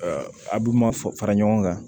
a b'u ma fara ɲɔgɔn kan